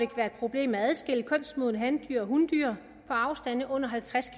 problem med at adskille kønsmodne handyr fra hundyr på afstande under halvtreds